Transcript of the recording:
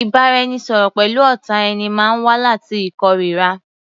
Ìbáraẹnisọ̀rọ̀ pẹ̀lú ọ̀tá ẹni máa wá láti ìkóríra.